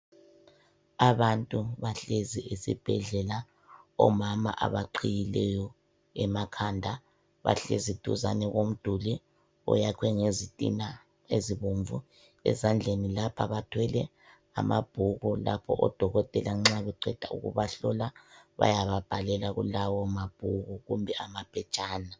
Abantu bahlezi esibhedlela, omama abaqhiyileyo emakhanda bahlezi duzane ko mduli oyakhwe ngezitina ezibomvu. Ezandleni lapha bathwele amabhuku lapho odokotela nxa beqeda ukubahlola bayababhalela kulawo ma bhuku kumbe ama phetshana